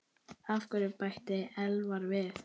Af hverju? bætti Elvar við.